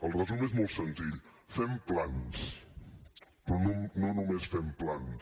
el resum és molt senzill fem plans però no només fem plans